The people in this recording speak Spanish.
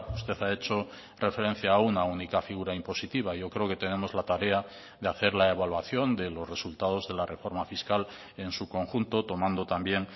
usted ha hecho referencia a una única figura impositiva yo creo que tenemos la tarea de hacer la evaluación de los resultados de la reforma fiscal en su conjunto tomando también